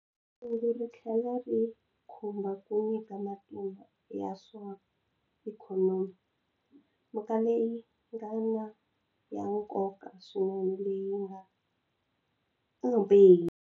Kungu ri tlhela ri khumba ku nyika matimba ya swa ikhonomi, mhaka leyi nga ya nkoka swinene leyi nga.